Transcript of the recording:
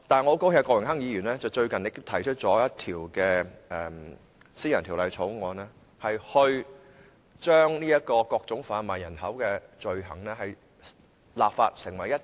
我很高興郭榮鏗議員近日提出了一項私人條例草案，訂立整全法例打擊販賣人口罪行。